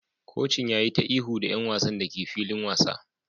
Kocin ya yi ta ihu da 'yan wasan da ke filin wasa